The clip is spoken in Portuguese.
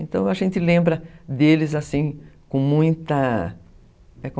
Então, a gente lembra deles assim, com muita...